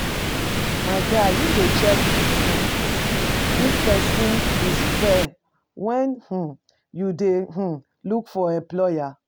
My guy, you dey check um if pesin is fair when um you dey um look for employer?